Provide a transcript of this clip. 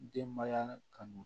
Denbaya kanu